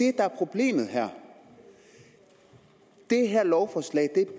er problemet her det her lovforslag